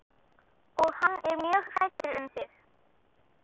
Og hann er mjög hræddur um þig.